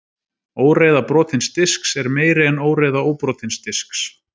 óreiða brotins disks er meiri en óreiða óbrotins disks